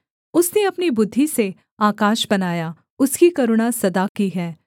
उसने अपनी बुद्धि से आकाश बनाया उसकी करुणा सदा की है